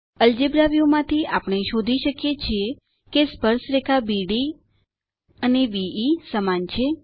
algebra view માંથી આપણે શોધી શકીએ છીએ કે સ્પર્શરેખા બીડી અને બે સમાન છે